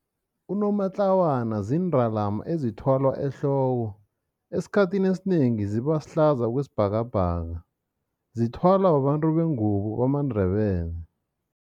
Unomatlawana ziindalama ezithwalwa ehloko. Esikhathini esinengi zibahlaza okwesibhakabhaka, zithwalwa babantu bengubo bamaNdebele.